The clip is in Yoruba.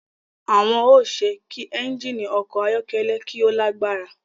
Awọn o ṣe kí ẹnjini ọkọ ayọkẹlẹ ki o lagbara